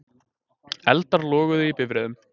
Eldar loguðu í bifreiðum